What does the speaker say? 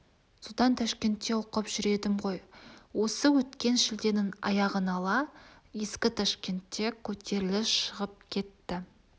содан ташкентте оқып жүр едім ғой осы өткен шілденің аяғын ала ескі ташкентте көтеріліс шығып кетті